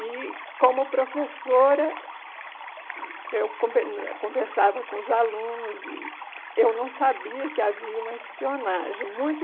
E, como professora, eu conver eh conversava com os alunos e eu não sabia que havia uma espionagem. Muito